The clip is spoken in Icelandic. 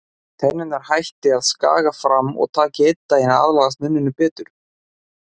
Tennurnar hætti að skaga fram og taki einn daginn að aðlagast munninum betur.